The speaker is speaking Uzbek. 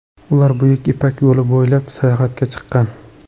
Ular Buyuk ipak yo‘li bo‘ylab sayohatga chiqqan.